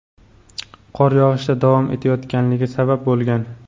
qor yog‘ishda davom etayotganligi sabab bo‘lgan.